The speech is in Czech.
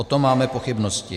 O tom máme pochybnosti.